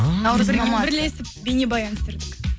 бірлесіп бейнебаян түсірдік